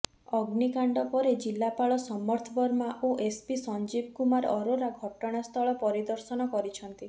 ଅଗ୍ନିକାଣ୍ଡ ପରେ ଜିଲ୍ଲାପାଳ ସମର୍ଥ ବର୍ମା ଓ ଏସ୍ପି ସଞ୍ଜିବ କୁମାର ଅରୋରା ଘଟଣା ସ୍ଥଳ ପରିଦର୍ଶନ କରିଛନ୍ତି